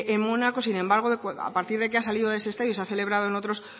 en mónaco sin embargo a partir de que ha salido de ese estadio se ha celebrado en otros